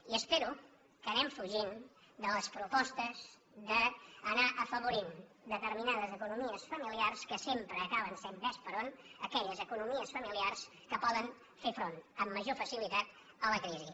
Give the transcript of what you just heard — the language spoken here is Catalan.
i espero que anem fugint de les propostes d’anar afavorint determinades economies familiars que sempre acaben sent vés per on aquelles economies familiars que poden fer front amb major facilitat a la crisi